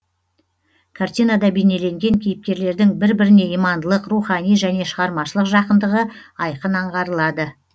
картинада бейнеленген кейіпкерлердің бір біріне имандылық рухани және шығармашылық жақындығы айқын аңғарылады